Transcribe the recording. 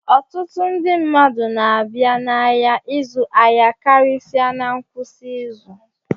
Ọtụtụ ndị mmadụ na-abịa n'ahịa ịzụ ahịa karịsịa na ngwụsị izu